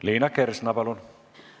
Liina Kersna, palun!